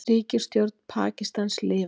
Ríkisstjórn Pakistans lifir